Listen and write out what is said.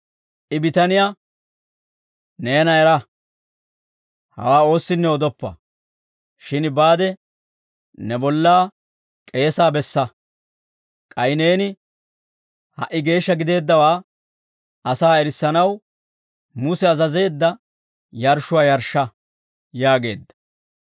I bitaniyaa, «Neena era! Hawaa oossinne odoppa; shin baade ne bollaa k'eesaa bessa; k'ay neeni ha"i geeshsha gideeddawaa asaa erissanaw, Muse azazeedda yarshshuwaa yarshsha» yaageedda.